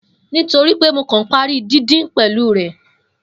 Nitoripe Mo kan pari didin pẹlu rẹ.